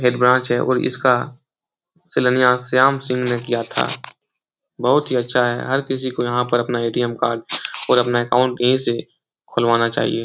यह ब्रांच है और इसका शिलान्यास श्याम सिंह ने किया था। बहोत ही अच्छा है। हर किसी को यहां पर अपना एटीएम कार्ड और अपना अकाउंट यहीं से खुलवाना चाहिए।